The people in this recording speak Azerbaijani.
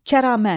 Kəramət.